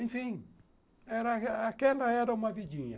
Enfim, era aquela era uma vidinha.